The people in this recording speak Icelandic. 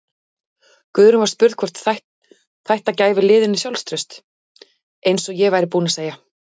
Guðrún var spurð hvort þætta gæfi liðinu sjálfstraust: Eins og ég er búinn að segja.